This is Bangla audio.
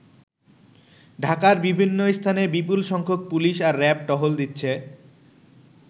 ঢাকায় বিভিন্ন স্থানে বিপুল সংখ্যক পুলিশ আর র‍্যাব টহল দিচ্ছে।